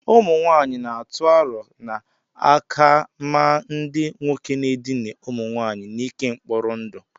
ụmụnwaanyị na-atụ aro na a ka-amaa ndị nwoke na-edina ụmụ nwanyị n'ike mkpọrọ ndụ